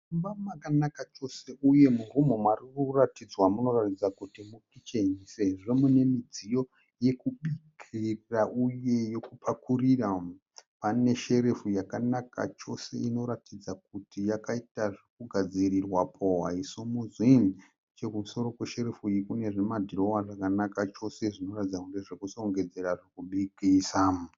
Mumba makanaka chose uye murumu muri kuratidzwa munoratidza kuti mukicheni sezvo mune midziyo yokubikira uye yokupakurira. Pane sherefu yakanaka chose inoratidza kuti yakaita zvokugadzirirwapo haisimudzwi. Nechokumusoro kwesherefu iyi kune zvimadhirowa zvakanaka chose zvinoratidza kunge zvokushongedzera zvokubikisa.